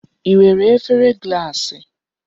I nwere efere gaasị?